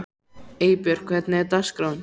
Eybjört, hvernig er dagskráin?